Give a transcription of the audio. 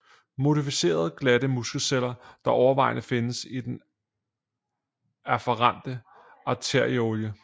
Modificerede glatte muskelceller der overvejende findes i den afferente arteriole